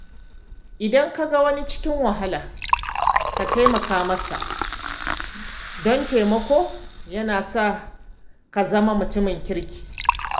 Idan ka ga wani cikin wahala, ka taimaka masa, don taimako yana sa ka zama mutumin kirki.